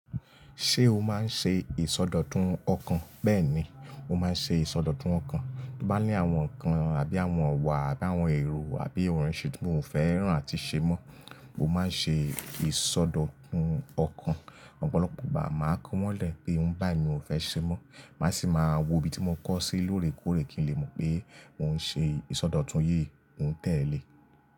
Ṣé o máa ń ṣe ìsọdọ̀tun ọkàn? Bẹ́ẹ̀ni, mo máa ń ṣe ìsọdọ̀tun ọkàn. Tí mo bá ní àwọn nǹkan àbí àwọn iwà àbí àwọn èrò àbí ìransẹ́ tí mò ń fẹ́rán àti ṣe mọ́, mo máa ń ṣe ìsọdọ̀tun ọkàn. Ọ̀pọ̀lọpọ̀ ìgbà máa ń kọ́ wọ́n lẹ̀ pé nǹ bá ní òun fẹ́ ṣe mọ́, màá sì máa wo ibi tí mo kọ́ sí lóòrèkóòrè kí n lè mọ̀ pé mò ń ṣe ìsọdọ̀tun yìí, mò ń tẹ̀lé.